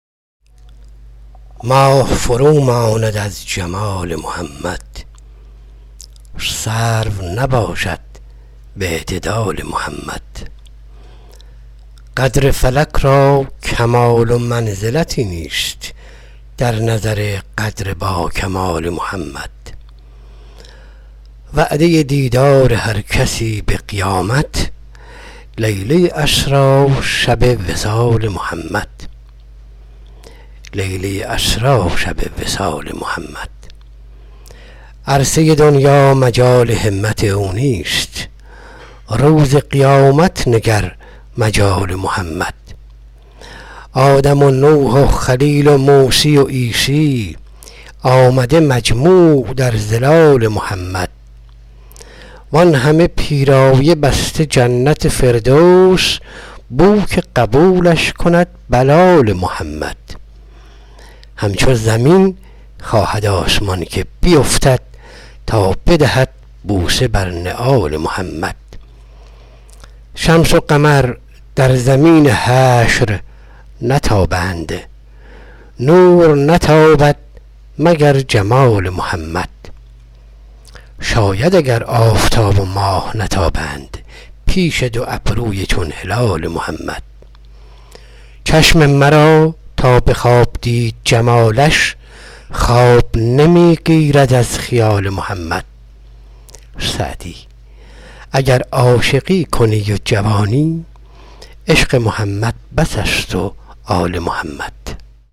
ماه فروماند از جمال محمد سرو نباشد به اعتدال محمد قدر فلک را کمال و منزلتی نیست در نظر قدر با کمال محمد وعده دیدار هر کسی به قیامت لیله اسری شب وصال محمد آدم و نوح و خلیل و موسی و عیسی آمده مجموع در ظلال محمد عرصه گیتی مجال همت او نیست روز قیامت نگر مجال محمد وآنهمه پیرایه بسته جنت فردوس بو که قبولش کند بلال محمد همچو زمین خواهد آسمان که بیفتد تا بدهد بوسه بر نعال محمد شمس و قمر در زمین حشر نتابد نور نتابد مگر جمال محمد شاید اگر آفتاب و ماه نتابند پیش دو ابروی چون هلال محمد چشم مرا تا به خواب دید جمالش خواب نمی گیرد از خیال محمد سعدی اگر عاشقی کنی و جوانی عشق محمد بس است و آل محمد